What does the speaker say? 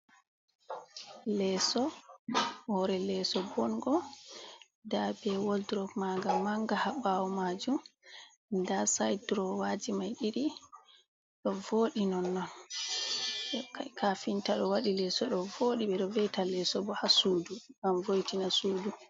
Leso, hore leso bongo da be woldrop maga manga ha bawo majum da sidrowaji mai didi do vodi non non. Kafinta do wadi leso do vodi be do veita leso bo ha sudu gam voitina sudu.